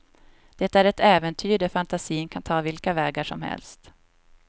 Det är ett äventyr där fantasin kan ta vilka vägar som helst.